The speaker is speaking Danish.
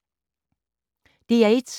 DR1